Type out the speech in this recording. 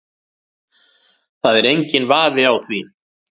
Það er enginn vafi á því